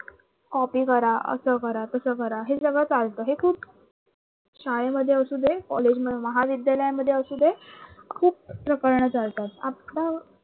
copy करा असं करा तसं करा हे सगळं चालत हे खूप शाळेमध्ये असू दे कॉलेज महाविद्यालयांमध्ये असू दे खूप प्रकरण चालतात आपला